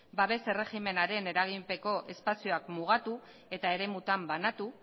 babes erregimenaren eraginpeko espazioak mugatu eta eremutan banatu